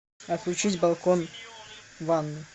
отключить балкон в ванной